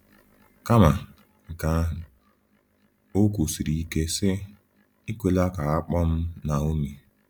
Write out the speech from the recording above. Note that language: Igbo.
Kama nke ahụ, o kwusiri ike sị: “Ekwela ka a kpọọ m Naomi.”